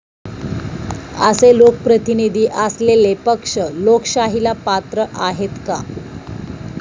असे लोकप्रतिनिधी असलेले पक्ष लोकशाहीला पात्र आहेत का?